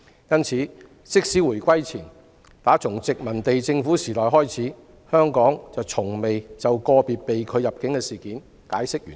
因此，自回歸前殖民地政府時代以來，香港從未就個別被拒入境個案解釋原因。